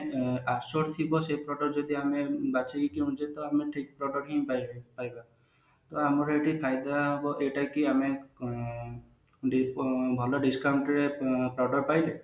assured ଥିବ ସେଇ product ଯଦି ଆମେ ବାଛିକି କିଣୁଛେ ତା ଆମେ ଠିକ product ହିଁ ପାଇବେ ପାଇବା ଆମର ଏଠି ଫଇଦା ହବ ଏଟା କି ଆମେ ଉ ଏ ଆମେ ଭଲ discount ରେ ଏଁ product ପାଇଲେ